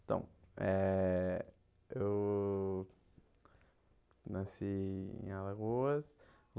Então, eh eu nasci em Alagoas.